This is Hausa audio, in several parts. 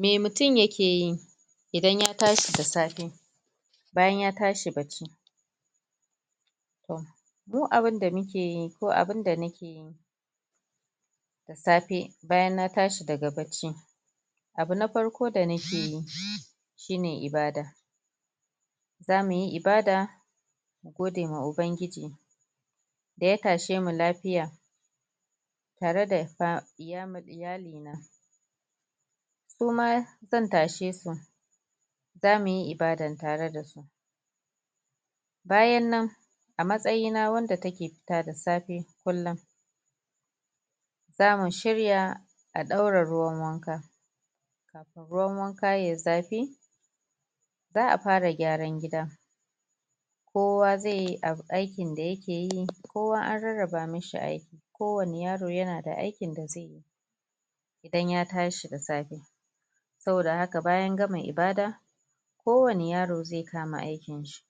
me mutum yakeyi idan ya tashi da safe bayan ya tashi bacci? mu abun da mukeyi ko abun da nakeyi da safe bayan na tashi daga bacci abu na farko da nakeyi shine ibada zamuyi ibada mu gode wa ubangiji da ya tashemu lafiya tare da fam um iyali na suma zan tashe su zamuyi ibada tare dasu bayan nan a matsayi wanda take fita da safe kullum zamu shirya a ɗaura ruwan wanka kafin ruwan wanka yayi zafi za'a fara gyaran gida kowa zai yi aikin da yake yi kowa anrar-raba mishi aiki kowani yaro yana da aikin da zaiyi idan ya tashi da safe saboda haka bayan gama ibada ko wani yaro zai kama aikin shi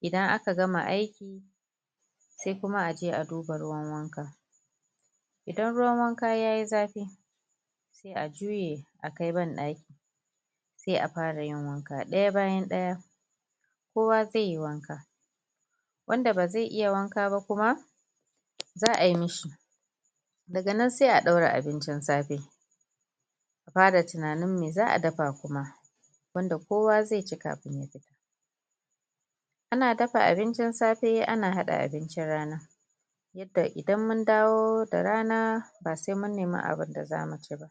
idan aka gama aiki sai kuma aje a duba ruwan wanka idan ruwan wanka yayi zafi sai a juye a kai bandaki sai a fara yin wanka ɗaya bayan ɗaya kowa zaiyi wanka wanda ba zai iya wanka ba kuma za'a yi mishi daga nan sai a ɗaura abincin safe a fara tunanin me za'a dafa kuma wanda kowa zai ci kafin ya fita ana dafa abincin safe ana hada abincin rana yanda idan mun mun dawo da rana ba sai mun nema abun da zamu ci ba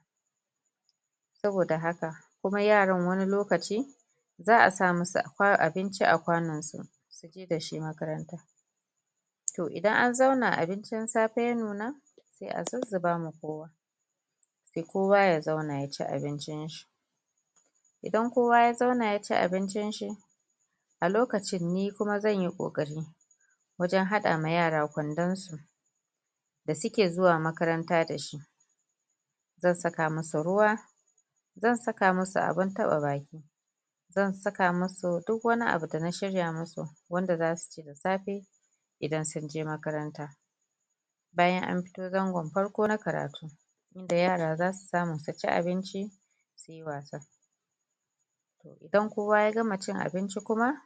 saboda haka kuma yaran wani lokaci za'a sa musu abinci a kwanon su suje dashi makaranta toh idan an zauna abincin safe ya nuna sai a zuzzuba sai kowa ya zauna ya zauna ya ci abincin shi idan kowa ya zauna yaci abincin shi a lokacin nikuma zan yi kokari wajen hada musu kwandon su da suke zuwa makaranta dashi zan saka musu ruwa zan saka musu abun taba baki zan saka musu duk wani abu da shirya musu wanda zasu ci da safe idan sunje makaranta bayan an fito zangon farko na karatu da yara zasu samu suci abinci su yi wasa idan kowa ya gama cin abinci kuma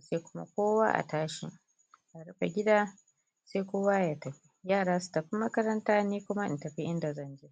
sai kuma kowa a tashi a rufe gida sai kowa ya tafi yara su tafi makaranta ni kuma in tafi inda zani